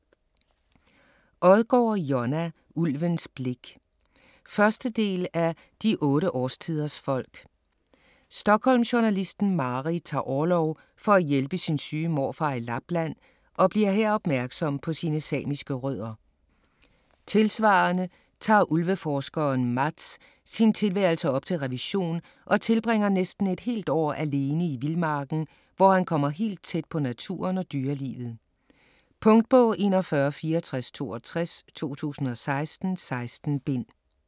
Odgaard, Jonna: Ulvens blik 1. del af De otte årstiders folk. Stockholmjournalisten Mari tager orlov for at hjælpe sin syge morfar i Lapland og bliver her opmærksom på sine samiske rødder. Tilsvarende tager ulveforskeren Mats sin tilværelse op til revision og tilbringer næsten et helt år alene i vildmarken, hvor han kommer helt tæt på naturen og dyrelivet. Punktbog 416462 2016. 16 bind.